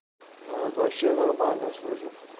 так вообще нормально слышу